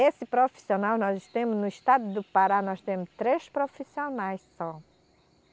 Esse profissional, nós temos, no estado do Pará, nós temos três profissionais só.